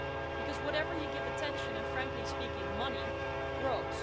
Because whatever you give attention and, frankly speaking, money to, grows.